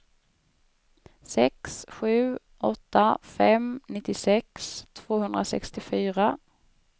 sex sju åtta fem nittiosex tvåhundrasextiofyra